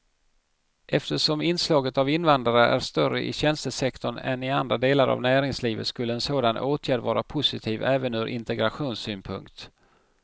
Eftersom inslaget av invandrare är större i tjänstesektorn än i andra delar av näringslivet skulle en sådan åtgärd vara positiv även ur integrationssynpunkt.